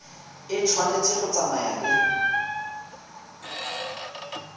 e tshwanetse go tsamaya le